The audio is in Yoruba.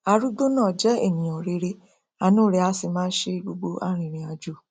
arúgbó náà jẹ ènìà rere àánú rẹ a sì máa ṣe gbogbo arinrìnàjò